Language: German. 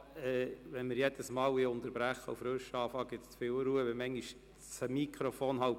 Wenn wir jedes Mal unterbrechen und neu beginnen wollen, gibt es zu viel Unruhe.